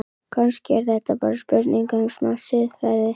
Kannski er þetta bara spurning um smá siðferði?